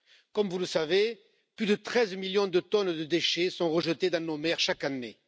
Comme vous le savez, plus de 13 millions de tonnes de déchets sont rejetées dans nos mers chaque année.